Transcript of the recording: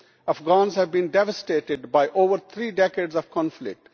Afghans have been devastated by over three decades of conflict.